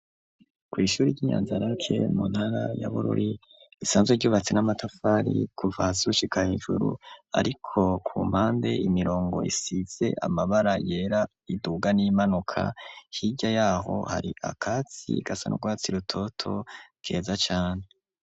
Kw’ishuri, ry'i Nyanzarake, mu ntara ya Bururi, risanzwe ryubatse, n'amatafari, kuva hasi, gushika hejuru, ariko ku mpande, imirongo isize amabara yera, iduga n'iyimanuka; hirya y'aho, hari akatsi, gasa n'urwatsi rutoto, keza cane.